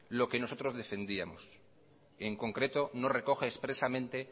lo que nosotros defendíamos en concreto no recoge expresamente